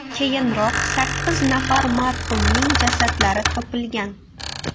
Keyinroq sakkiz nafar marhumning jasadlari topilgan.